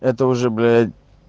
это уже блять